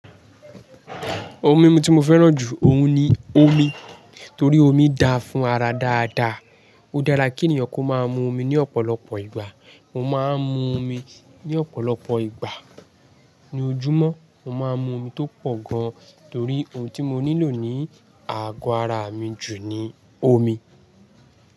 Omi ti mo fẹ́ràn jù òun ni omi, torí omi da fún ara dáadáa. Ó dára kí ènìyàn kó máa mu omi ní ọ̀pọ̀lọpọ̀ ìgbà. Mo máa ń mu omi ní ọ̀pọ̀lọpọ̀ ìgbà. Ní ojúmọ́, mo máa ń mu omi tó pọ̀ gan, torí ohun tí mo nílò ní àgọ́ ara mi jù ni omi.